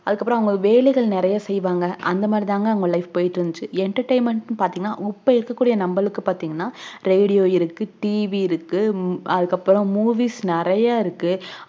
அதுக்கு அப்புறம் வேலைகளாம் செய்வாங்கஇந்த மாதிரித்தான் அவங்க life போய்ட்டு இருந்துச்சு entertainment நு பாத்தீங்கனா உப்பே இருக்குற நம்பளுக்கு பாத்தீங்கனா radio இருக்கு tv இருக்கு உம் அதுக்கு அப்புறம் movies நெறையா இருக்கு